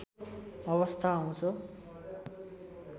अवस्था आउँछ